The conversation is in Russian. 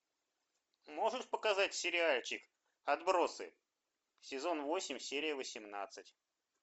можешь показать сериальчик отбросы сезон восемь серия восемнадцать